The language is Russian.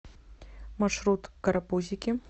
маршрут карапузики